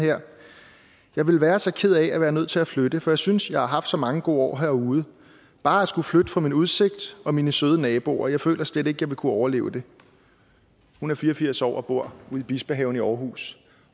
her jeg vil være så ked af at være nødt til at flytte for jeg synes jeg har haft så mange gode år herude bare at skulle flytte fra min udsigt og mine søde naboer føler jeg slet ikke jeg vil kunne overleve hun er fire og firs år og bor i bispehaven i aarhus